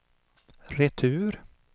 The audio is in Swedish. retur